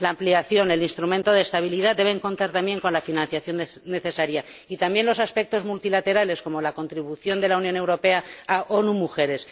La ampliación y el instrumento de estabilidad deben contar también con la financiación necesaria y también los aspectos multilaterales, como la contribución de la Unión Europea a ONU Mujeres.